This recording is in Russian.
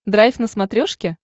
драйв на смотрешке